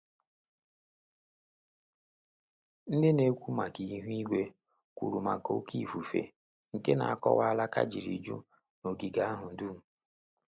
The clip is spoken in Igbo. Ndị na-ekwu maka ihu igwe kwuru maka óké ifufe, nke na-akọwa alaka jiri ju n' ogige ahụ dum